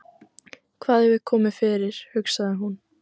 Hvað hefur komið fyrir, hugsaði hún.